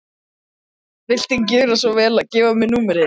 Viltu gjöra svo vel að gefa mér upp númerið þitt?